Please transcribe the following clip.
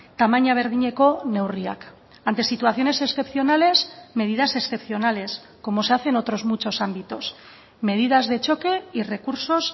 tamaina berdineko neurriak ante situaciones excepcionales medidas excepcionales como se hace en otros muchos ámbitos medidas de choque y recursos